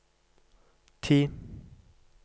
ti